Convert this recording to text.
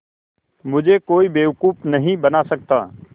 मुझे कोई बेवकूफ़ नहीं बना सकता